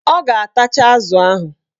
Ọ ga-atacha azụ ahụ